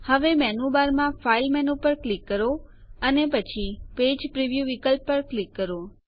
હવે મેનૂ બારમાં file menu પર ક્લિક કરો અને પછી પેજ પ્રિવ્યૂ વિકલ્પ પર ક્લિક કરો